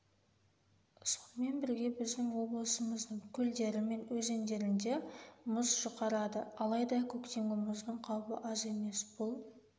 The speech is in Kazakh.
сонымен бірге біздің облысымыздың көлдері мен өзендерінде мұз жұқарады алайда көктемгі мұздың қаупі аз емес бұл